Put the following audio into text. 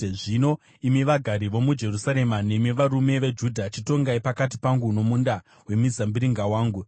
“Zvino imi vagari vomuJerusarema nemi varume veJudha, chitongai pakati pangu nomunda wemizambiringa wangu.